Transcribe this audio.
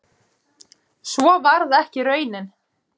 Svo varð ekki raunin